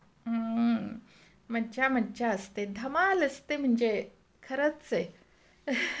हं, मज्जा मज्जा असते, धमाल असते म्हणजे खरच आहे, Laugh